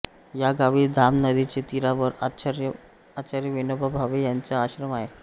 या गावी धाम नदीचे तीरावर आचार्य विनोबा भावे यांचा आश्रम आहे